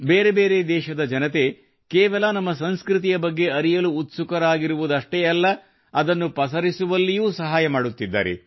ಬೇರೆ ಬೇರೆ ದೇಶದ ಜನತೆ ಕೇವಲ ನಮ್ಮ ಸಂಸ್ಕೃತಿಯ ಬಗ್ಗೆ ಅರಿಯಲು ಉತ್ಸುಕರಾಗಿರುವುದಷ್ಟೆ ಅಲ್ಲ ಅದನ್ನು ಪಸರಿಸುವಲ್ಲಿಯೂ ಸಹಾಯ ಮಾಡುತ್ತಿದ್ದಾರೆ